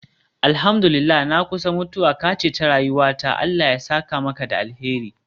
Alhamdu lillahi, na kusa mutuwa, ka ceci rayuwata Allah ya saka maka da alheri.